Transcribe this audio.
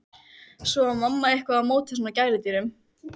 Svo var mamma eitthvað á móti svona gæludýrum.